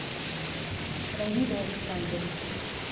равилю александровичу